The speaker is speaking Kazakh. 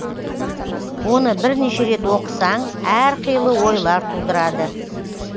оны бірнеше рет оқысаң әр қилы ойлар тудырады